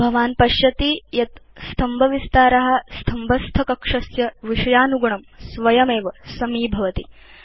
भवान् पश्यति यत् स्तम्भविस्तार स्तम्भस्थकक्षस्य विषयानुगुणं स्वयमेव समीभवति